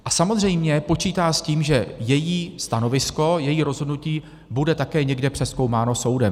A samozřejmě počítá s tím, že její stanovisko, její rozhodnutí bude také někde přezkoumáno soudem.